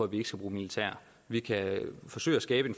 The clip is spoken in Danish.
ikke skal bruge militær vi kan forsøge at skabe